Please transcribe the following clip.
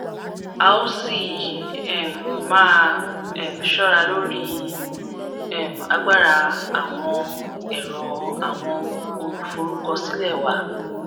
a o si um maa um ṣọra lori um agbara awọn ẹrọ awọn oluforukọsilẹ wa